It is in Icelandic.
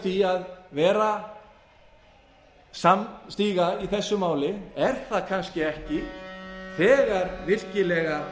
því að vera samstiga í þessu máli er það kannski ekki þegar virkilega